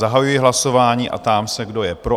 Zahajuji hlasování a ptám se, kdo je pro?